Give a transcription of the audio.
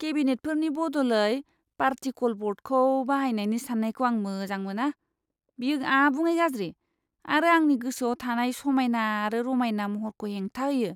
केबिनेटफोरनि बदलै पार्टिकल ब'र्डखौ बाहायनायनि साननायखौ आं मोजां मोना। बेयो आबुङै गाज्रि आरो आंनि गोसोआव थानाय समायना आरो रमायना महरखौ हेंथा होयो!